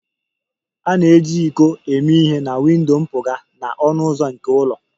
A na-eji iko eme ihe na windo mpụga na ọnụ ụzọ nke ụlọ